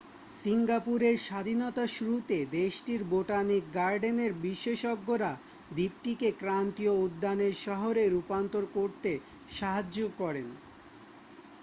সিংগাপুরের স্বাধীনতার শুরুতে দেশটির বোটানিক গার্ডেনের বিশেষজ্ঞরা দ্বীপটিকে ক্রান্তীয় উদ্যানের শহরে রূপান্তর করতে সাহায্য করেন